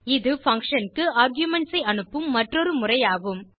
இது பங்ஷன் க்கு ஆர்குமென்ட்ஸ் ஐ அனுப்பும் மற்றொரு முறை ஆகும்